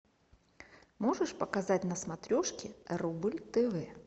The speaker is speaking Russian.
можешь показать на смотрешке рубль тв